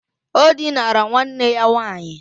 O dinara nwanne ya nwaanyị.